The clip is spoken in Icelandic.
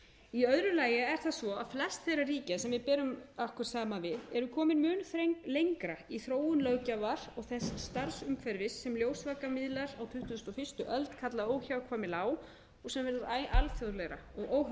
í öðru lagi er það svo að flest þeirra ríkja sem við berum okkur saman við eru komin mun lengra í þróun löggjafar og þess starfsumhverfis sem ljósvakamiðlar á tuttugustu og fyrstu öld kalla óhjákvæmilega á og sem er alþjóðlegra og óháð landamærum það